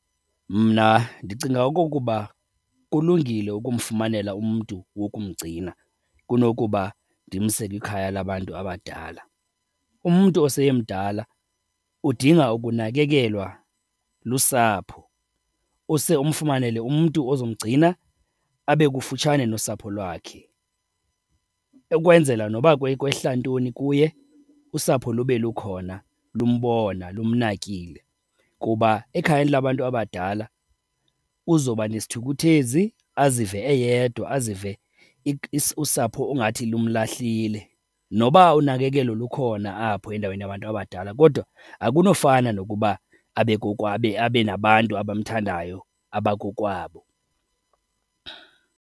Mna ndicinga okokuba kulungile ukumfumanela umntu wokumgcina kunokuba ndimse kwikhaya labantu abadala. Umntu oseyemdala udinga ukunakekelwa lusapho, use umfumanele umntu ozomgcina abe kufutshane nosapho lwakhe ukwenzela noba kwehla ntoni kuye usapho lube lukhona lumbona, lumnakile. Kuba ekhayeni labantu abadala uzoba nesithukuthezi, azive eyedwa, azive usapho ungathi lumlahlile. Noba unakekelo lukhona apho endaweni yabantu abadala kodwa akunofana nokuba abe , abe nabantu abamthandayo abakokwabo.